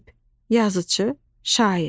Ədib, yazıçı, şair.